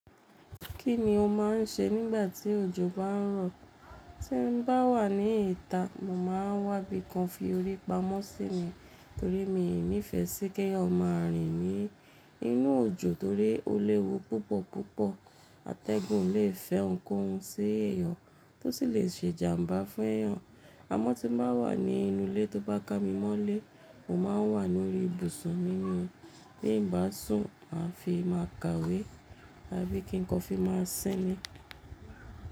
Kí ni o máà ń ṣe nígbà tí òjò bá ń rọ̀? Tí n bá wà ní ìta, mò máa wá ibikan fi orí pamọ́ sí ní torí mi ò nífẹ sí kí ẹyan máa rìn ní inú òjò torí ó léwu púpọ̀ púpọ̀. Atẹ́gùn le fẹ́ ǹkan ń ṣi ẹ̀yàn, tó sì lè ṣe jàmbá fún ẹ̀yàn. Amọ́ tí mba wà ní inú ilé tó bá kámimọ́lé, mò máa ń wà lórí ibùsùn mí ní. Bí n bá sùn, màá fi máa ka ìwé, à bí kí nkán fi máa sinmi.